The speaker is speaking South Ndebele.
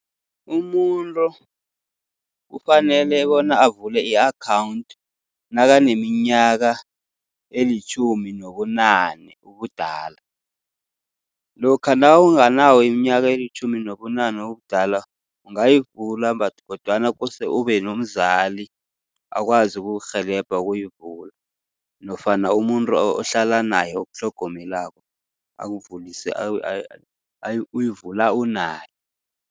Umuntu kufanele bona avule i-akhawunthi nakaneminyaka elitjhumi nobunane ubudala. Lokha nawunganayo iminyaka elitjhumi nobunane ubudala, ungayivula but, kodwana kose ube nomzali akwazi ukukurhelebha ukuyivula, nofana umuntu ohlala naye okutlhogomelako akuvulise uyivula unaye.